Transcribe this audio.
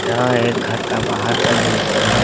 यहां एक घर का बाहर का दृश्य है।